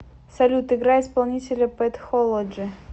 салют играй исполнителя пэт холоджи